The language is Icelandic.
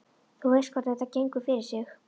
Þú veist hvernig þetta gengur fyrir sig.